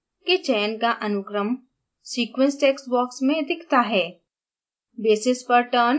nucleic acids के चयन का अनुक्रम sequence text box में दिखता है